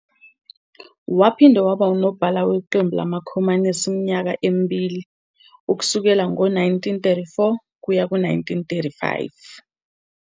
Waphinde waba nguNobhala weQembu LamaKhomanisi iminyaka emibili, ukusukela ngo-1934 ukuya ku-1935.